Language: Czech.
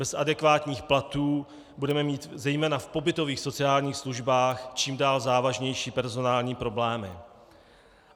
Bez adekvátních platů budeme mít zejména v pobytových sociálních službách čím dál závažnější personální problémy.